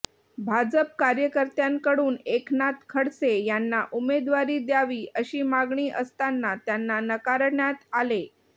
भाजप कार्यकर्त्यांकडून एकनाथ खडसे यांना उमेदवारी द्यावी अशी मागणी असताना त्यांना नाकारण्यात आले